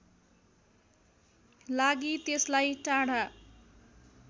लागि त्यसलाई टाढा